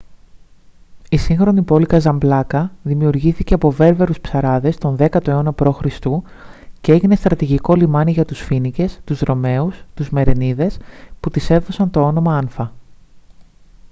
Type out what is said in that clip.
η σύγχρονη πόλη καζαμπλάνκα δημιουργήθηκε από βέρβερους ψαράδες τον 10ο αιώνα π.χ. και έγινε στρατηγικό λιμάνι για τους φοίνικες τους ρωμαίους και τους μερενίδες που της έδωσαν το όνομα άνφα